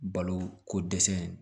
Balo ko dɛsɛ